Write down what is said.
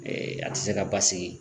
a tɛ se ka basigi